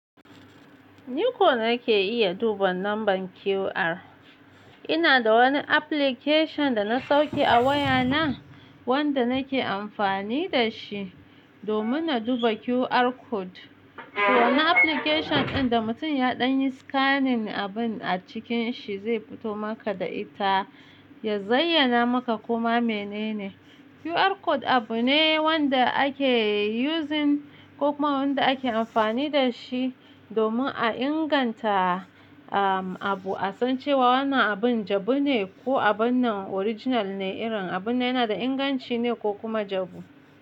Ni ko nake iya duba lambar QR. Ina da wani application da na sauke a wayana wanda nake amfani da shi domin na duba QR code. Wannan application ɗin da mutum ya ɗan yi scanning abun a cikin shi zai fito maka da ita, ya zayyana maka koma menene. QR code abu ne wanda ake using ko kuma wanda ake amfani da shi domin a inganta, ah, abu, a san cewa wannan abun jabu ne ko abun nan original ne, irin abun yana da inganci ne ko kuma jabu.